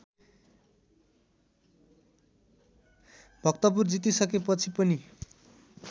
भक्तपुर जितिसकेपछि पनि